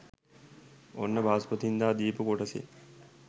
ඔන්න බ්‍රහස්පතින්දා දීපු කොටසෙන්